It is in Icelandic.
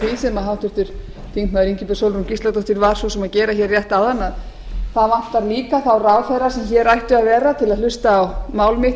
sem háttvirtur þingmaður ingibjörg sólrún gísladóttir að að vera hér rétt áðan það vantar líka þá ráðherra sem hér ættu að vera til að hlusta á